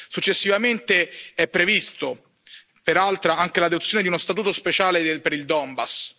Successivamente è prevista, peraltro, anche l'adozione di uno statuto speciale per il Donbass.